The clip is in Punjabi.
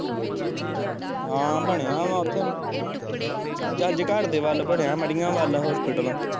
ਹਾਂ ਬਣਿਆ ਵਾ ਉੱਥੇ ਜੰਞ ਘਰ ਦੇ ਵੱਲ ਬਣਿਆ ਮੜੀਆਂ ਵੱਲ ਹੋਸਪਿਟਲ।